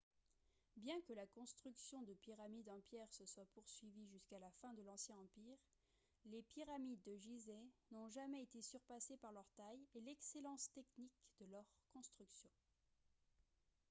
bien que la construction de pyramides en pierre se soit poursuivie jusqu'à la fin de l'ancien empire les pyramides de gizeh n'ont jamais été surpassées par leur taille et l'excellence technique de leur construction